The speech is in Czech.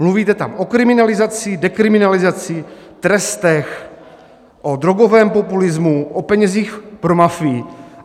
Mluvíte tam o kriminalizaci, dekriminalizaci, trestech, o drogovém populismu, o penězích pro mafii.